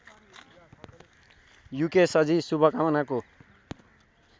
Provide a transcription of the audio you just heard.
युकेशजी शुभकामनाको